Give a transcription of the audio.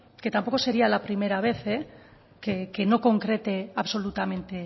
que tampoco sería la primera vez que no concrete absolutamente